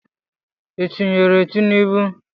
Ị tụnyeere Tinubu?